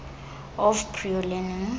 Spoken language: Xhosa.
of prior learning